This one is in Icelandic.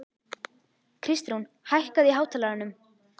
Kristrún, hækkaðu í hátalaranum.